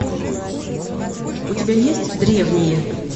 у тебя есть древние